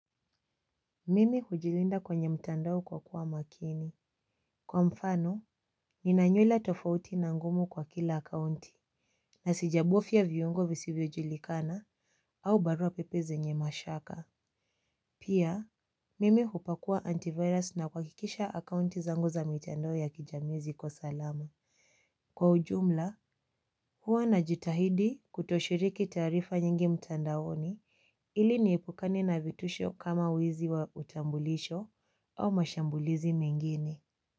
Mimi hujilinda kwenye mtandao kwa kuwa makini. Kwa mfano ninanywela tofauti na ngumu kwa kila akaunti. Na sijabofya vyungo visivyojilikana au barua pepe zenye mashaka. Pia mimi hupakua antivirus na kuakikisha akaunti zangu za mitandao ya kijamii ziko salama. Kwa ujumla hua najitahidi kutoshiriki taarifa nyingi mtandaoni ili niepukane na vitusho kama wizi wa utambulisho au mashambulizi mengine.